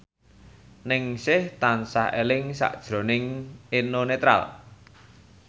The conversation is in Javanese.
Ningsih tansah eling sakjroning Eno Netral